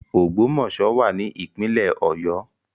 Ogbomoso wa ni ipinle Oyo